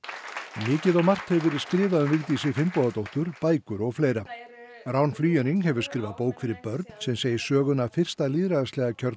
mikið og margt hefur verið skrifað um Vigdísi Finnbogadóttur bækur og fleira rán hefur skrifað bók fyrir börn sem segir söguna af fyrsta lýðræðislega kjörna